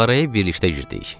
Mağaraya birlikdə girdik.